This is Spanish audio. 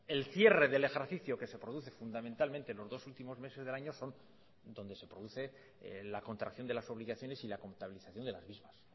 el cierre del ejercicio que se produce fundamentalmente en los dos últimos meses del año son donde se produce la contracción de las obligaciones y la contabilización de las mismas